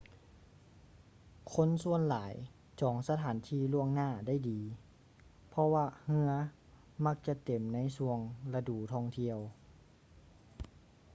ຄົນສ່ວນຫຼາຍຈອງສະຖານທີ່ລ່ວງໜ້າໄດ້ດີ ເພາະວ່າເຮືອມັກຈະເຕັມໃນຊ່ວງລະດູທ່ອງທຽວ